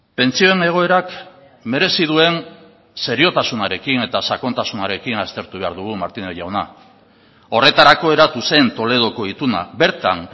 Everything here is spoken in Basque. pentsioen egoerak merezi duen seriotasunarekin eta sakontasunarekin aztertu behar dugu martínez jauna horretarako eratu zen toledoko ituna bertan